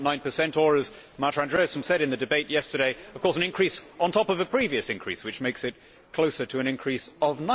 2.9 or as Marta Andreasen said in the debate yesterday, of course an increase on top of the previous increase which makes it closer to an increase of